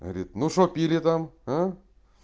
говорит ну что пили там а